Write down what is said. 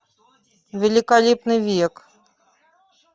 великолепный век